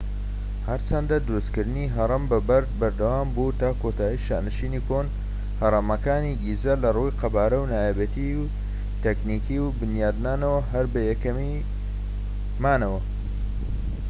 هەرچەندە دروستکردنی هەڕەم بە بەرد بەردەوامبوو تا کۆتایی شانشینی کۆن هەرەمەکانی گیزە لە ڕووی قەبارە و نایابێتی تەکنیکی و بنیادنانەوە هەر بە یەکەمی مانەوە